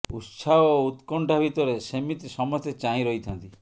ଉତ୍ସାହ ଓ ଉକ୍ରଣ୍ଠା ଭିତରେ ସେମିତି ସମସ୍ତେ ଚାହିଁ ରହିଥାନ୍ତି